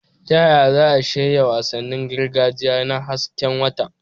Ta yaya za a shirya wasannin gargajiya na hasken wata?